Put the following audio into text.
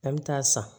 An bɛ taa san